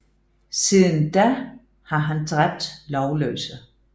Siden da har han dræbt lovløse